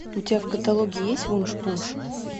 у тебя в каталоге есть вуншпунш